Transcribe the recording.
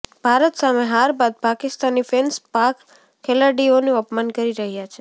ભારત સામે હાર બાદ પાકિસ્તાની ફેન્સ પાક ખેલાડીઓનું અપમાન કરી રહ્યાં છે